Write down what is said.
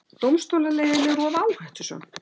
Dómstólaleiðin of áhættusöm